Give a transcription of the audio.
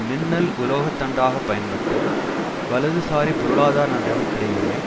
மின்னல் உலோகத்தண்டாக பயன்பட்டு வலதுசாரி பொருளாதார நடவடிக்கைகளை